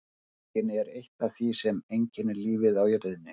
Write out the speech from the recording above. Breytileikinn er eitt af því sem einkennir lífið á jörðinni.